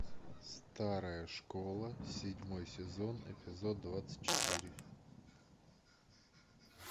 старая школа седьмой сезон эпизод двадцать четыре